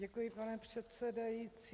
Děkuji, pane předsedající.